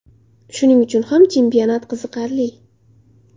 Shuning uchun ham chempionat qiziqarli.